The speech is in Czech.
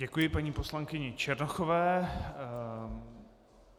Děkuji paní poslankyni Černochové.